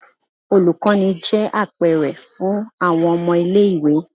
Olukọni jẹ apẹrẹ fun awọn ọmọ ile-iwe.